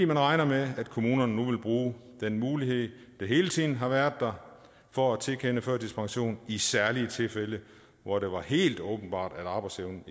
man regner med at kommunerne nu vil bruge den mulighed der hele tiden har været der for at tilkende førtidspension i særlige tilfælde hvor det var helt åbenbart at arbejdsevnen